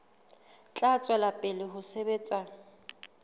tla tswela pele ho sebetsa